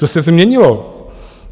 Co se změnilo?